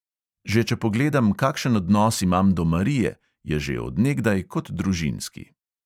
Že če pogledam, kakšen odnos imam do marije, je že od nekdaj kot družinski.